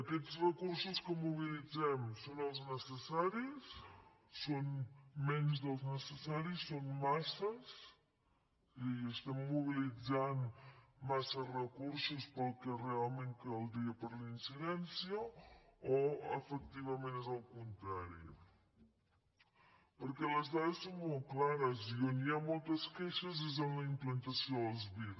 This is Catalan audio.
aquests recursos que mobilitzem són els necessaris són menys dels necessaris són masses és a dir estem mobilitzant massa recursos pel que realment caldria per la incidència o efectivament és al contrari perquè les dades són molt clares i on hi ha moltes queixes és en la implantació dels vir